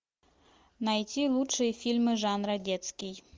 найти лучшие фильмы жанра детский